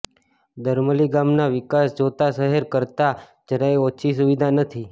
દરામલી ગામનો વિકાસ જોતા શહેર કરતા જરાય ઓછી સુવિધા નથી